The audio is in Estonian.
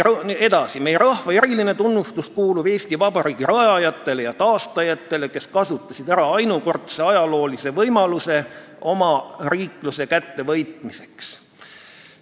Edasi: "Meie rahva eriline tunnustus kuulub Eesti Vabariigi rajajatele ja taastajatele, kes kasutasid ära ainukordse ajaloolise võimaluse omariikluse kättevõitmiseks.